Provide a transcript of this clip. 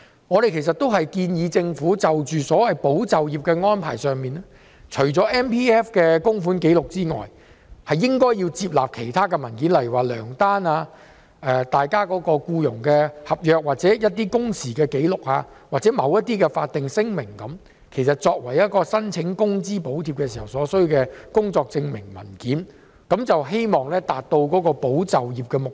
我們建議政府在所謂"保就業"的安排上，除了以 MPF 供款紀錄為根據外，也應接納其他文件，例如糧單、僱傭合約、工時紀錄，或某些法定聲明，作為申請工資補貼所需的工作證明文件，希望達到保就業的目標。